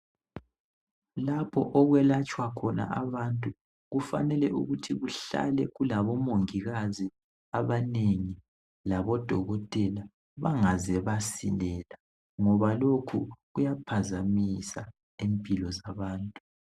Lapho okwelatshwa khona abantu kufanele ukuthi kuhlale kulabomongikazi abanengi labodokotela bangaze basilela, ngoba lokhu kuyaphazamisa impilo zabantu .